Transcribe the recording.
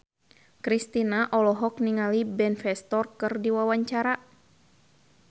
Kristina olohok ningali Ben Foster keur diwawancara